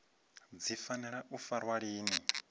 dzi fanela u farwa lini